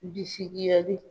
Bisikiyali.